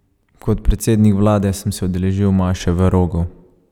Kot predsednik vlade sem se udeležil maše v Rogu.